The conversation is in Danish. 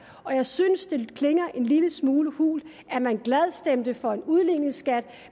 og jeg synes det klinger en lille smule hult at man glad stemte for en udligningsskat